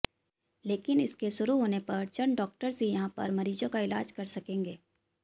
लेकिन इसके शुरु होने पर चंद डॉक्टर्स ही यहां पर मरीजों का इलाज कर सकेंगे